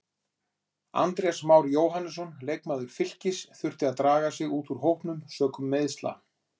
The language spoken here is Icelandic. Andrés Már Jóhannesson leikmaður Fylkis þurfti að draga sig út úr hópnum sökum meiðsla.